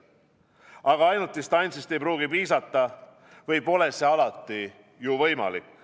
Aga ainult distantsist ei pruugi piisata või pole see alati ju võimalik.